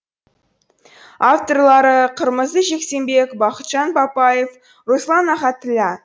авторлары қырмызы жексенбек бақытжан бапаев руслан ахатілла